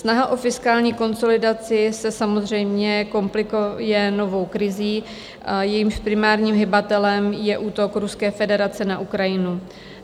Snaha o fiskální konsolidaci se samozřejmě komplikuje novou krizí, jejímž primárním hybatelem je útok Ruské federace na Ukrajinu.